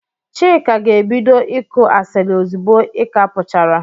Chika ga-ebido ịkụ asiri ozigbo i ka puchara.